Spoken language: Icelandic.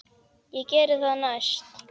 Ég geri það næst.